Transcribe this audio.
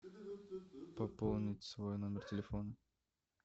пополнить свой номер телефона